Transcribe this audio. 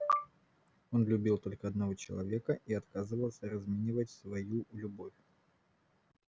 он любил только одного человека и отказывался разменивать свою любовь